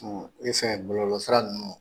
E fɛn bɔlɔlɔ sira ninnu